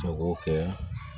Jago kɛ